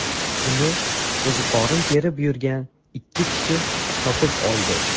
Uni qo‘ziqorin terib yurgan ikki kishi topib oldi.